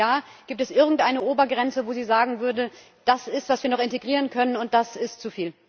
Und wenn ja, gibt es irgendeine Obergrenze, wo Sie sagen würden, das ist, was wir noch integrieren können, und das ist zu viel?